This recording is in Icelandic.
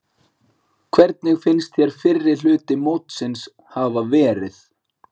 Hvernig finnst þér fyrri hluti mótsins hafa verið?